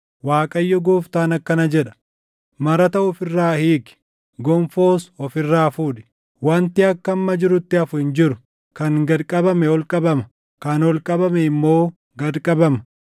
Waaqayyo Gooftaan akkana jedha: Marata of irraa hiiki; gonfoos of irraa fuudhi. Wanti akka amma jirutti hafu hin jiru; kan gad qabame ol qabama; kan ol qabame immoo gad qabama.